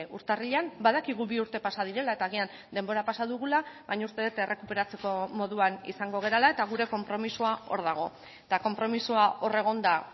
urtarrilean badakigu bi urte pasa direla eta agian denbora pasa dugula baina uste dut errekuperatzeko moduan izango garela eta gure konpromisoa hor dago eta konpromisoa hor egonda